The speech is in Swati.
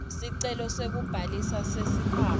sicelo sekubhalisa nesikhwama